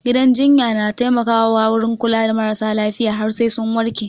Gidan jinya na taimaka wurin kula da maras lafiya har sai sun warke